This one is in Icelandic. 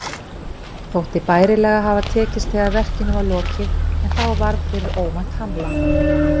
Þótti bærilega hafa tekist þegar verkinu var lokið, en þá varð fyrir óvænt hamla.